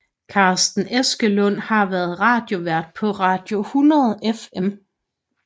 Carsten Eskelund har været radiovært på Radio 100 FM